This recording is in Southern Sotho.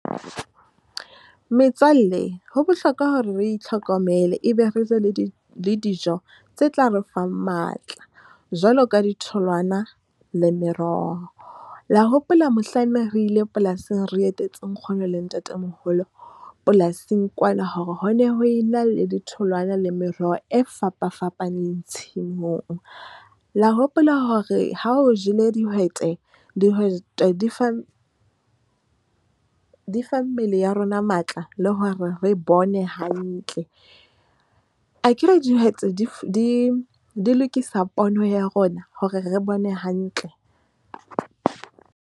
Metswalle ho bohlokwa hore re itlhokomele ebe re be le di le dijo tse tla re fang matla jwaloka di tholwana le meroho. La hopola, mohlanne re ile polasing, re etetse nkgono le ntatemoholo polasing kwana hore ho ne ho e na le di tholwana le meroho e fapafapaneng. Tshimong la hopola hore ha o jele dihwete, dihwete di fa mmele ya rona matla, le hore re bone hantle, akere dihwete di lokisa pono ya rona hore re bone hantle.